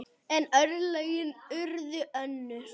En örlögin urðu önnur.